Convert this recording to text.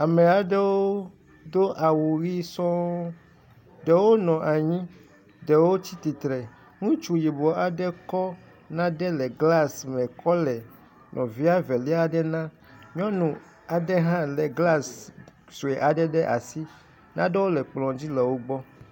Ame aɖewo do awu ʋi sɔ ɖewo nɔ anyi ɖewo tsi tsitre. Ŋutsu yibɔ aɖe kɔ nane le glasi me kɔ le nɔvia velai aɖe nam. Nyɔnu aɖe hã le glasi sue aɖe ɖe asi. Nanewo le kplɔ dzi le wo gbɔ.